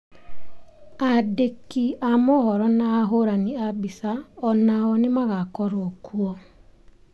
Aandĩki a mohoro na ahũrani a mbica o nao nĩ magakorũo kuo.